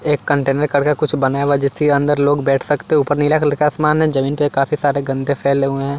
एक कंटेनर करके कुछ बनाया हुआ जिसके अंदर लोग बैठ सकते ऊपर नीला कलर का आसमान है जमीन पे काफी सारे गंदे फैले हुए हैं।